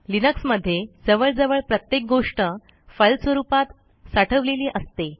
Linux मध्ये जवळजवळ प्रत्येक गोष्ट फाईल स्वरूपात साठवलेली असते